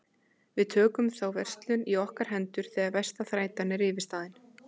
Við tökum þá verslun í okkar hendur þegar versta þrætan er yfirstaðin.